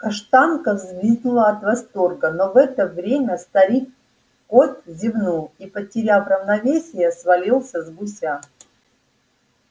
каштанка взвизгнула от восторга но в это время старик кот зевнул и потеряв равновесие свалился с гуся